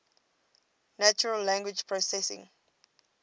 natural language processing